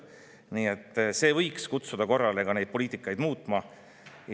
Nii et see võiks poliitikat muutma.